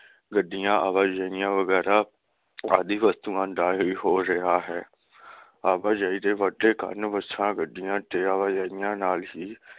ਗੱਡੀਆਂ ਆਵਾਜਾਈਆ ਵਗੈਰਾ ਆਦਿ ਵਸਤੂਆਂ ਦਾ ਹੀ ਹੋ ਰਹਿਆ ਹੈ । ਆਵਾਜਾਈ ਦੇ ਵੱਡੇ ਕਾਰਨ ਬੱਸਾਂ, ਗੱਡੀਆਂ ਤੇ ਆਵਾਜਾਈਆ ਨਾਲ ਹੀ